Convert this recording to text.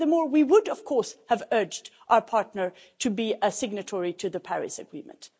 And furthermore, we would, of course, have urged our partner to be a signatory to the Paris Agreement.